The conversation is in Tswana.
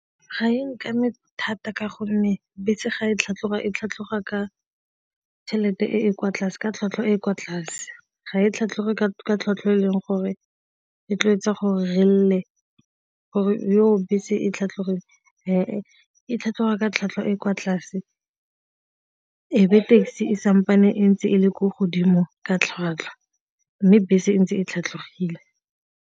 Ga e nkame thata ka gonne bese ga e tlhatlhoga e tlhatlhoga ka tšhelete e e kwa tlase ka tlhwatlhwa e kwa tlase, ga e tlhatlhoge ka tlhwatlhwa e e leng gore e tla etsa go re lla gore bese e tlhatlhogile ga e tlhatlhoha ka tlhwatlhwa e kwa tlase ebe taxi e nne ntse e le ko godimo ka tlhwatlhwa mme bese e ntse e tlhatlhogile.